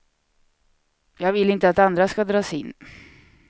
Jag vill inte att andra ska dras in.